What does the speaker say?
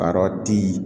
A yɔrɔ ti